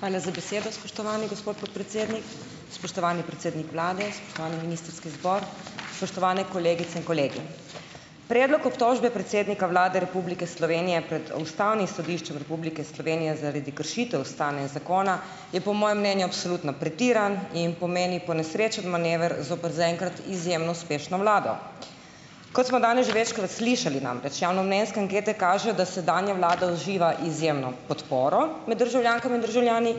Hvala za besedo, spoštovani gospod podpredsednik. Spoštovani predsednik vlade, spoštovani ministrski zbor, spoštovane kolegice in kolegi. Predlog obtožbe predsednika Vlade Republike Slovenije pred Ustavnim sodiščem Republike Slovenije zaradi kršitev ustave in zakona je po mojem mnenju absolutno pretiran in pomeni ponesrečen manever zoper za enkrat izjemno uspešno vlado. Kot smo danes že večkrat slišali, namreč javnomnenjske ankete kažejo, da sedanja vlada uživa izjemno podporo med državljankami in državljani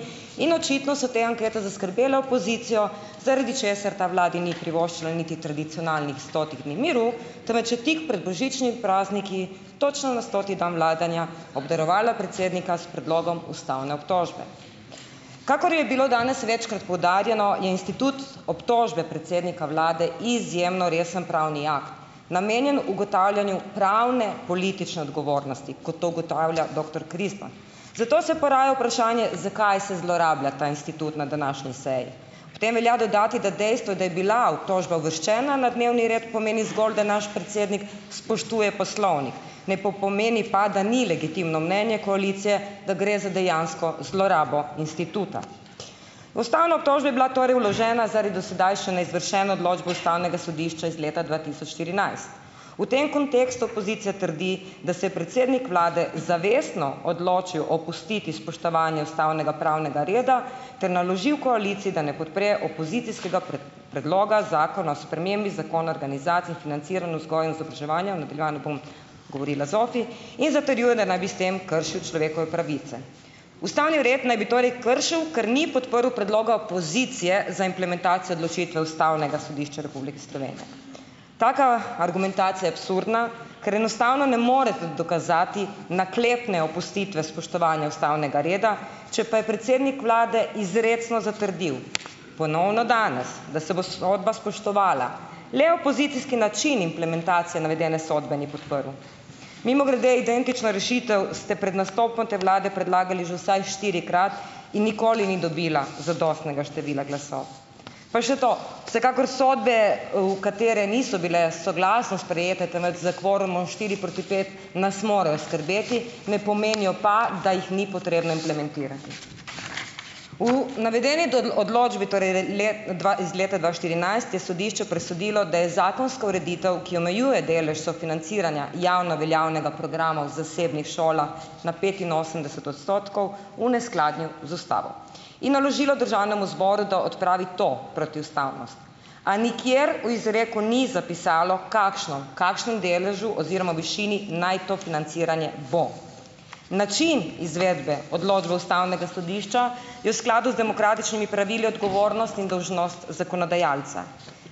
in očitno so te ankete zaskrbele opozicijo, zaradi česar ta vladi ni privoščila niti tradicionalnih stotih dni miru, temveč je tik pred božičnim prazniki, točno na stoti dan vladanja, obdarovala predsednika s predlogom ustavne obtožbe. Kakor je bilo danes večkrat poudarjeno, je institut obtožbe predsednika vlade izjemno resen pravni akt, namenjen ugotavljanju pravne politične odgovornosti, kot to ugotavlja doktor Krizman. Zato se poraja vprašanje, zakaj se zlorablja ta institut na današnji seji. Potem velja dodati, da dejstvo, da je bila obtožba uvrščena na dnevni red, pomeni zgolj, da naš predsednik spoštuje poslovnik, ne pomeni pa, da ni legitimno mnenje koalicije, da gre za dejansko zlorabo instituta. Ustavna obtožba je bila torej vložena zaradi do sedaj še neizvršene odločbe ustavnega sodišča iz leta dva tisoč štirinajst. V tem kontekstu opozicija trdi, da se je predsednik vlade zavestno odločil opustiti spoštovanje ustavnega pravnega reda ter naložil koaliciji, da ne podpre opozicijskega predloga Zakona o spremembi Zakona organizaciji in financiranju vzgoje in izobraževanja, v nadaljevanju bom govorila ZOFI, in zatrjuje, da naj bi s tem kršil človekove pravice. Ustavni red naj bi torej kršil, ker ni podprl predloga opozicije za implementacijo odločitve Ustavnega sodišča Republike Slovenije. Taka argumentacija je absurdna, ker enostavno ne morete dokazati naklepne opustitve spoštovanja ustavnega reda, če pa je predsednik vlade izrecno zatrdil ponovno danes, da se bo sodba spoštovala, le opozicijski način implementacije navedene sodbe ni podprl. Mimogrede identično rešitev ste pred nastopom te vlade predlagali že vsaj štirikrat in nikoli ni dobila zadostnega števila glasov. Pa še to, vsekakor sodbe, v katere niso bile soglasno sprejete, temveč s kvorumom štiri proti pet, nas morajo skrbeti, ne pomenijo pa, da jih ni potrebno implementirati. V navedeni odločbi torej dva iz leta dva štirinajst je sodišče presodilo, da je zakonska ureditev, ki omejuje delež sofinanciranja javno veljavnega programa v zasebnih šolah na petinosemdeset odstotkov, v neskladju z ustavo in naložilo državnemu zboru, da odpravi to protiustavnost, a nikjer v izreku ni zapisalo, kakšno, kakšnem deležu oziroma višini naj to financiranje bo. Način izvedbe odločbe ustavnega sodišča je v skladu z demokratičnimi pravili odgovornost in dolžnost zakonodajalca.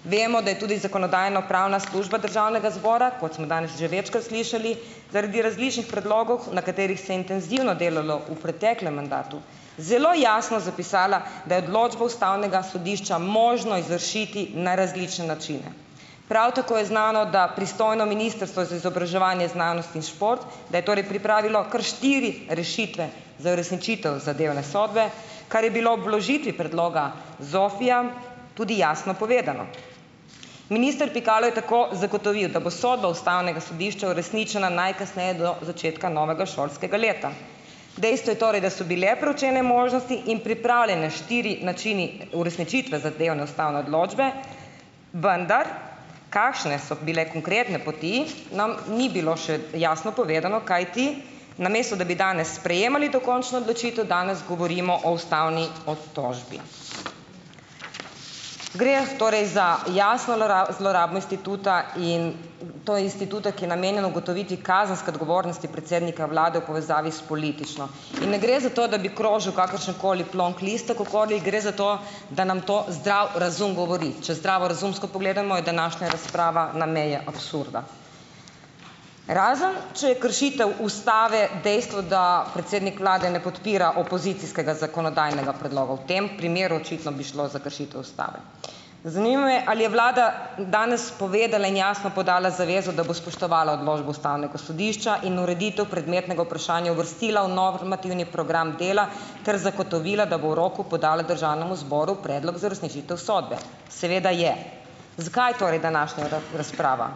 Vemo, da je tudi zakonodajno-pravna služba državnega zbora, kot smo danes že večkrat slišali, zaradi različnih predlogov, na katerih se intenzivno delalo v preteklem mandatu, zelo jasno zapisala, da je odločbo ustavnega sodišča možno izvršiti na različne načine. Prav tako je znano, da pristojno Ministrstvo za izobraževanje, znanost in šport, da je torej pripravilo kar štiri rešitve za uresničitev zadevne sodbe, kar je bilo ob vložitvi predloga ZZOFI-ja tudi jasno povedano. Minister Pikalo je tako zagotovil, da bo sodba ustavnega sodišča uresničena najkasneje do začetka novega šolskega leta. Dejstvo je torej, da so bile preučene možnosti in pripravljeni štirje načini uresničitve zadevne ustavne odločbe, vendar kakšne so bile konkretne poti, nam ni bilo še jasno povedano, kajti namesto da bi danes sprejemali dokončno odločitev, danes govorimo o ustavni obtožbi. Gre torej za jasno zlorabo instituta in to instituta, ki je namenjen ugotoviti kazenske odgovornosti predsednika vlade v povezavi s politično. In ne gre za to, da bi krožil kakršenkoli plonk listek okoli. Gre za to, da nam to zdrav razum govori. Če zdravorazumsko pogledamo, je današnja razprava na meji absurda. Razen če je kršitev ustave dejstvo, da predsednik vlade ne podpira opozicijskega zakonodajnega predloga, v tem primeru očitno bi šlo za kršitev ustave. Zanima me, ali je vlada danes povedala in jasno podala zavezo, da bo spoštovala odločbo ustavnega sodišča in ureditev predmetnega vprašanja uvrstila v normativni program dela ter zagotovila, da bo v roku podala državnemu zboru predlog za uresničitev sodbe. Seveda je. Zakaj torej današnja razprava?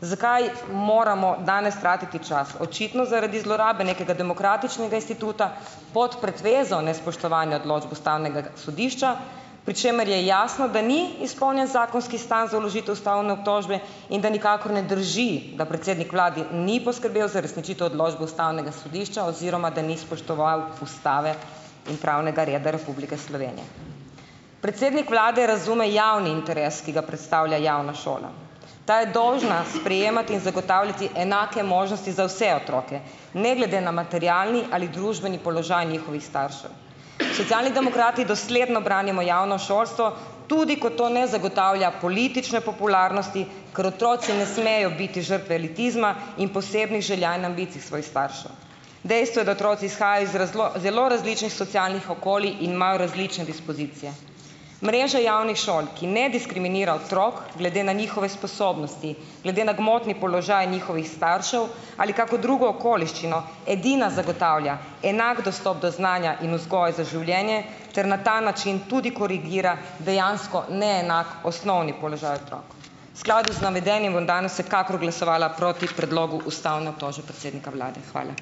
Zakaj moramo danes tratiti čas? Očitno zaradi zlorabe nekega demokratičnega instituta pod pretvezo nespoštovanja odločb ustavnega sodišča, pri čemer je jasno, da ni izpolnjen zakonski stan za vložitev ustavne obtožbe in da nikakor ne drži, da predsednik vlade ni poskrbel za uresničitev odločbe ustavnega sodišča oziroma da ni spoštoval ustave in pravnega reda Republike Slovenije. Predsednik vlade razume javni interes, ki ga predstavlja javna šola. Ta je dolžna sprejemati in zagotavljati enake možnosti za vse otroke ne glede na materialni ali družbeni položaj njihovih staršev. Socialni demokrati dosledno branimo javno šolstvo tudi, ko to ne zagotavlja politične popularnosti, ker otroci ne smejo biti žrtve elitizma in posebnih želja in ambicij svojih staršev. Dejstvo je, da otroci izhajajo iz zelo različnih socialnih okolij in imajo različne dispozicije. Mreža javnih šol, ki ne diskriminira otrok glede na njihove sposobnosti, glede na gmotni položaj njihovih staršev ali kako drugo okoliščino, edina zagotavlja enak dostop do znanja in vzgoje za življenje ter na ta način tudi korigira dejansko neenak osnovni položaj otrok. V skladu z navedenim bom danes vsekakor glasovala proti predlogu ustavne obtožbe predsednika vlade. Hvala.